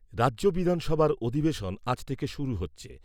রাজ্য বিধানসভার অধিবেশন আজ থেকে শুরু হচ্ছে।